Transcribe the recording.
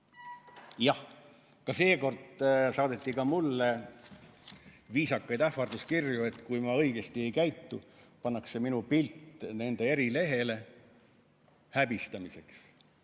Jah, ka seekord saadeti mulle viisakaid ähvarduskirju, et kui ma õigesti ei käitu, pannakse minu pilt nende erilehele, häbistamiseks.